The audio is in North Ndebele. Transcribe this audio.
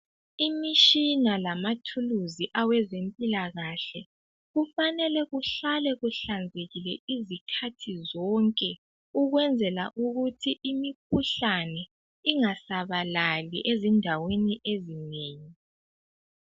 Imishina lamathuluzi awezempilakahle. Kufanele kuhlale kuhlanzekile izikhathi zonke, ukwenzela ukuthi imikhuhlani ingasabalali ezindaweni ezinengi.